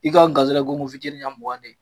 I ka garisɛgɛ ye gonkon fitiini ɲɛ mugan de ye